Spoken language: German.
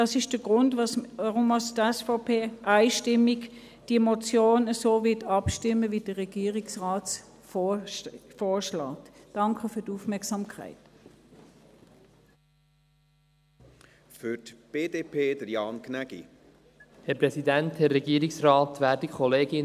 Das ist der Grund, weshalb die SVP bei dieser Motion einstimmig so abstimmen wird, wie es der Regierungsrat vorschlägt.